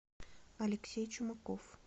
алексей чумаков